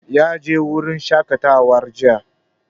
Ya je wurin shaƙatawa jiya.